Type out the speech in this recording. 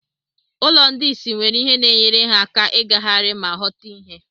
Ụlọ ndị isi nwere ihe na-enyere ha aka ịgagharị ma ghọta ihe.